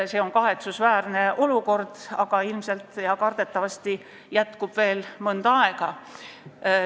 See on kahetsusväärne olukord, aga ilmselt ja kardetavasti jätkub see veel mõnda aega.